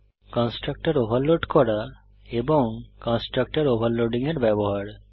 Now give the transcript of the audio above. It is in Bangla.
কন্সট্রাকটর ওভারলোড করা এবং কন্সট্রাকটর ওভারলোডিং এর ব্যবহার